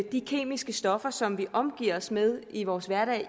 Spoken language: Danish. de kemiske stoffer som vi omgiver os med i vores hverdag